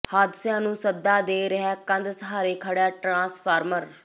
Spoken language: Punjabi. ਹਾਦਸਿਆਂ ਨੂੰ ਸੱਦਾ ਦੇ ਰਿਹੈ ਕੰਧ ਸਹਾਰੇ ਖੜ੍ਹਾ ਟਰਾਂਸਫਾਰਮਰ